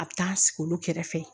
A bɛ taa sigi olu kɛrɛfɛ